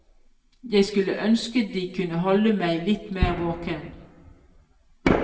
Jeg skulle ønske de kunne holde meg litt mer våken.